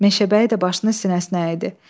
Meşəbəyi də başını sinəsinə əyidi.